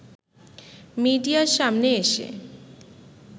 মিডিয়ার সামনে এসে